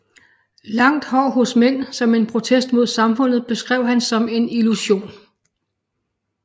Langt hår hos mænd som en protest mod samfundet beskrev han som en illusion